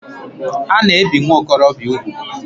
A na ebi nwokorobia úgwù?